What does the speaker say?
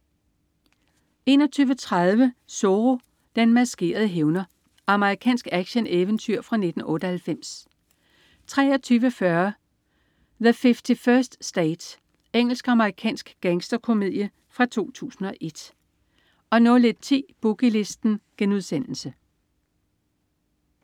21.30 Zorro. Den maskerede hævner. Amerikansk actioneventyr fra 1998 23.40 The 51st State. Engelsk-amerikansk gangsterkomedie fra 2001 01.10 Boogie Listen*